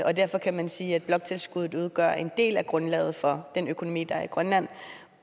og derfor kan man sige at bloktilskuddet udgør en del af grundlaget for den økonomi der er i grønland